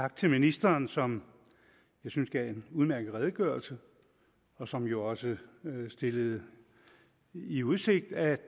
tak til ministeren som jeg synes gav en udmærket redegørelse og som jo også stillede i udsigt at